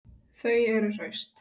Þau eru hraust